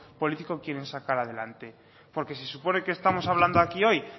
político quieren sacar adelante porque se supone que estamos hablando aquí hoy